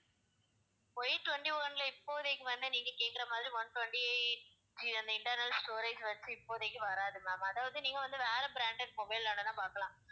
Y twenty one ல இப்போதைக்கு வந்து நீங்க கேக்குற மாதிரி one twenty-eight GB அந்த internal storage வெச்சு இப்போதைக்கு வராது ma'am அதாவது நீங்க வந்து வேற branded mobile வேணுனா பார்க்கலாம்